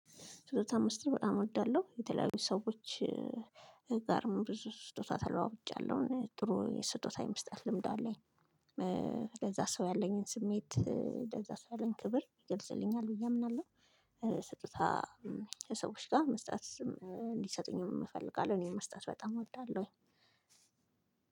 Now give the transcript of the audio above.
ስጦታ መስጠት በጣም እወዳለሁ የተለያዩ ሰዎች ጋርም ብዙ ስጦታ ተለዋውጫለሁ ጥሩ ስጦታ የመስጠት ልምድ አለኝ። ለዛ ሰው ያለኝን ስሜት ለዛ ሰው ያለኝ ክብር ይገልጽልኛል ብዬ አምናለሁ። ስጦታ ከሰዎች ጋር መስጠት እንዲሰጡኝ እፈልጋለሁ። እኔ መስጠት በጣም እወልዳለሁ።